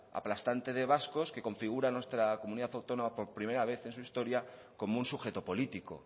aplastante de vascos que configuran nuestra comunidad autónoma por primera vez en su historia como un sujeto político